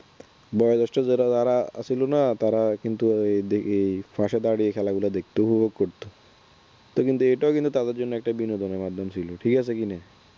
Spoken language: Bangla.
বয়োজ্যেষ্ঠ যারা আছিল না তারা কিন্তু এই পাশে দাঁড়িয়ে খেলা গুলো দেখত উপভোগ করত এটাও কিন্তু তাদের জন্য বিনোদনের একটা মাধ্যম ছিল ঠিক আছে কিনা